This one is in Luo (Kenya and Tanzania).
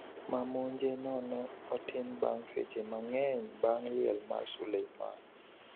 Mamenjonone otim bang' seche mang'eny bang' liel mar Soleimani.